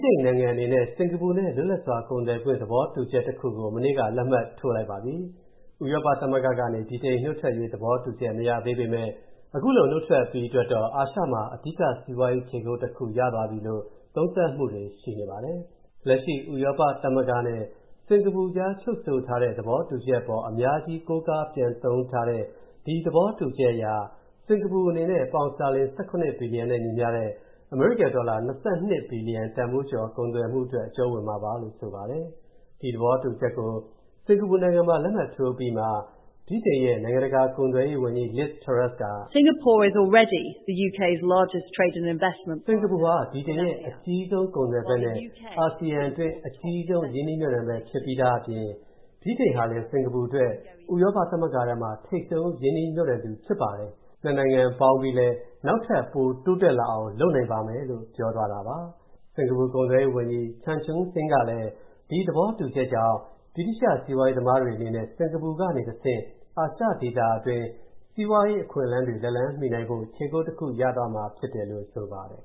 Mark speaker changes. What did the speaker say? Speaker 1: တိန်နိုင်ငံအနေနဲ့ စင်္ကာပူနဲ့ လွတ်လပ်စွာကုန်သွယ်ခွင့် သဘောတူချက်တစ်ခုကို မနေ့က လက်မှတ်ထိုးလိုက်ပါပြီ။ ဥရောပသမဂ္ဂကနေ ဗြိတန်နုတ်ထွက်ရေး သဘောတူချက် မရသေးပေမဲ့၊ အခုလိုနုတ်ထွက်အပြီးအတွက်တော့ အာရှမှာ အဓိကစီးပွားရေးခြေချစရာတစ်ခု ရသွားပြီလို့ သုံးသပ်မူတွေရှိနေပါတယ်။ လက်ရှိ ဥရောပသမဂ္ဂနဲ့စင်္ကာပူအကြားချုပ်ဆိုထားတဲ့ သဘောတူချက်အပေါ် အများကြီး ကိုးကားပြန်သုံးထားတဲ့ ဒီသဘောတူချက်အရ စင်္ကာပူအနေနဲ့ ပေါင်စတာလင် ၁၇ ဘီလီယျံနဲ့ညီမျှတဲ့ အမေရိကန်ဒေါ်လာ ၂၂ ဘီလီယျံတန်ဖိုးကျော် ကုန်သွယ်မူအတွက် အကြုံးဝင်မှာပါလို့ ဆိုပါတယ်။ ဒီသဘောတူချက်ကို စင်္ကာပူနိုင်ငံမှာ လက်မှတ်ထိုးအပြီးမှာ၊ ဗြိတိန်ရဲ့ နိုင်ငံတကာကုန်သွယ်ရေးဝန်ကြီးLiz Truss က “စင်္ကာပူနိုင်ငံဟာ ဗြိတိန်ရဲ့ အကြီးဆုံး ကုန်သွယ်ဖက်နဲ့ အာဆီယံအတွင်း အကြီးဆုံး ရင်းနှီးမြုပ်နှံဖက် ဖြစ်ပြီးသားအပြင်၊ ဗြိတန်ဟာလည်း စင်္ကာပူအတွက် ဥရောပသမဂ္ဂထဲမှာ ထိပ်ဆုံး ရင်းနှီးမြုပ်နှံသူဖြစ်ပါတယ်၊ နှစ်နိုင်ငံပေါင်းပြီးလည်း နောက်ထပ်ပိုတိုးတက်လာအောင်လုပ်နိုင်ပါမယ်” လို့ ပြောသွားတာပါ။ စင်္ကာပူကုန်သွယ်ရေးဝန်ကြီး Chan Chun Sing ကလည်း ဒီသဘောတူချက်ကြောင့် ဗြိတိသျှစီးပွားရေးသမားတွေအနေနဲ့ စင်္ကာပူကနေတစ်ဆင့် အာရှဒေသတွင်း စီးပွားအခွင့်အလမ်းတွေ လက်လှမ်းမီနိုင်ဖို့၊ ခြေကုတ်တစ်ခု ရသွားမှာဖြစ်တယ်လို့ ဆိုပါတယ်